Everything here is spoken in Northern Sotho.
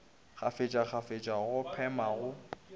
kgafetša kgafetša go phema go